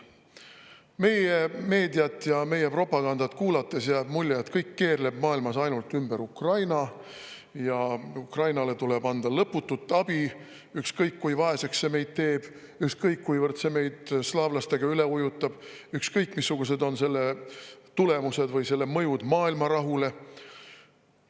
Meie meediat ja meie propagandat kuulates jääb mulje, et kõik keerleb maailmas ainult ümber Ukraina, et Ukrainale tuleb anda lõputut abi, ükskõik, kui vaeseks see meid ennast teeb, ükskõik, kuivõrd see meid slaavlastega üle ujutab, ükskõik, missugused on selle tulemused või mõju maailma rahule.